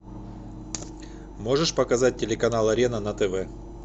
можешь показать телеканал арена на тв